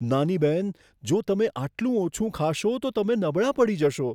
નાની બહેન, જો તમે આટલું ઓછું ખાશો, તો તમે નબળાં પડી જશો.